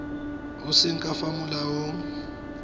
e seng ka fa molaong